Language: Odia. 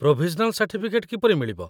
ପ୍ରୋଭିଜନାଲ୍ ସାର୍ଟିଫିକେଟ୍ କିପରି ମିଳିବ?